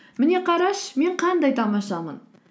міне қарашы мен қандай тамашамын